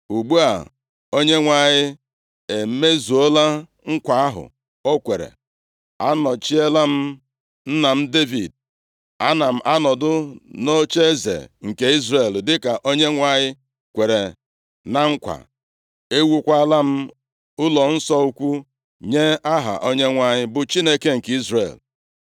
“Ugbu a, Onyenwe anyị emezuola nkwa ahụ o kwere. A nọchiela m nna Devid, ana m anọdụ nʼocheeze nke Izrel dịka Onyenwe anyị kwere na nkwa. Ewuokwala m ụlọnsọ ukwu nye Aha Onyenwe anyị, bụ Chineke nke Izrel.